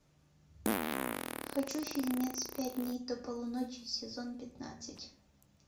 хочу фильмец пять дней до полуночи сезон пятнадцать